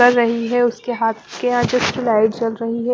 कर रही है उसके हाथ के यहाँ जस्ट लाइट जल रही हैं।